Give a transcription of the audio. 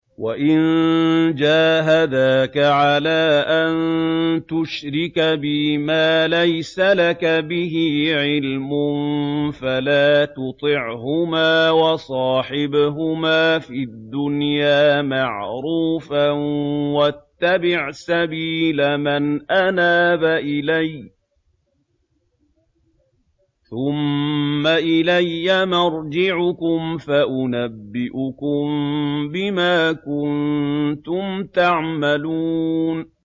وَإِن جَاهَدَاكَ عَلَىٰ أَن تُشْرِكَ بِي مَا لَيْسَ لَكَ بِهِ عِلْمٌ فَلَا تُطِعْهُمَا ۖ وَصَاحِبْهُمَا فِي الدُّنْيَا مَعْرُوفًا ۖ وَاتَّبِعْ سَبِيلَ مَنْ أَنَابَ إِلَيَّ ۚ ثُمَّ إِلَيَّ مَرْجِعُكُمْ فَأُنَبِّئُكُم بِمَا كُنتُمْ تَعْمَلُونَ